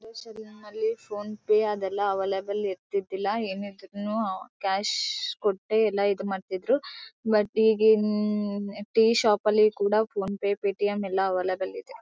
Phone pay ಅದೆಲ್ಲ available ಇರ್ತಿದಿಲ್ಲ ಏನಿದ್ರಿನು ಕ್ಯಾಶ್ ಕೊಟ್ಟು ಇದ್ ಮಾಡ್ತಿದ್ರು ಬಟ್ ಈಗಿನ ಟೀ ಶಾಪ್ ಅಲ್ಲೂ ಕೂಡ ಫೋನ್ ಪೆ ಪೆಟಿಎಂ ಎಲ್ಲ ಅವೈಲಬಲ್ ಇದೆ.